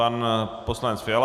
Pan poslanec Fiala.